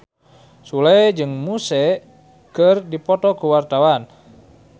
Sule jeung Muse keur dipoto ku wartawan